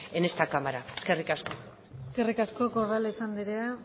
en esta cámara eskerrik asko eskerrik asko corrales andrea